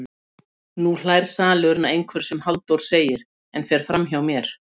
TRÚNAÐARMÁL stóð letrað rauðum stöfum bæði framan og aftan á umslagið.